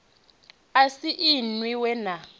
a si inwi we na